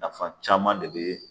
Nafa caman de be